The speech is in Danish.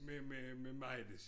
Med med med Maj Lis